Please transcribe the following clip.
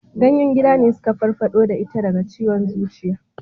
Ganyen gida ne suka farfado da ita daga ciwon zuciya